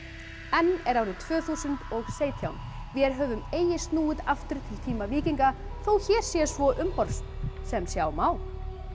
enn er árið tvö þúsund og sautján vér höfum eigi snúið aftur til tíma víkinga þó hér sé svo umhorfs sem sjá má